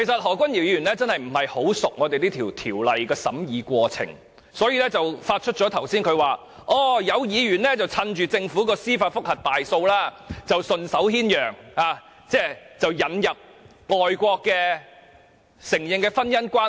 何君堯議員確實不大熟悉這項《條例草案》的審議過程，所以他剛才才會指有議員趁着政府於司法覆核個案中敗訴而順手牽羊，引入外國承認的婚姻關係。